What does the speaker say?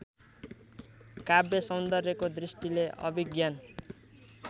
काव्यसौन्दर्यको दृष्टिले अभिज्ञान